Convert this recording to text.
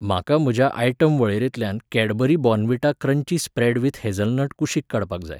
म्हाका म्हज्या आयटम वळेरेंतल्यान Cadbury Bournvita crunchy spread with hazelnut कुशीक काडपाक जाय.